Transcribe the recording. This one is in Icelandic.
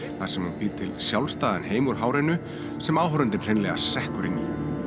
þar sem hún býr til sjálfstæðan heim úr hárinu sem áhorfandinn hreinlega sekkur inn í